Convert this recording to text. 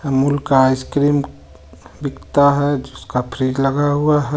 अमूल का आइसक्रीम बिकता हे जिसका फ्रिज लगा हुआ हे.